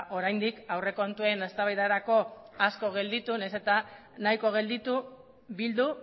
oraindik aurrekontuen eztabaidarako nahiz eta nahiko gelditu bildu